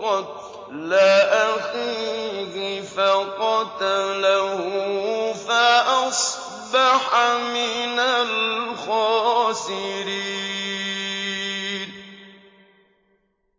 قَتْلَ أَخِيهِ فَقَتَلَهُ فَأَصْبَحَ مِنَ الْخَاسِرِينَ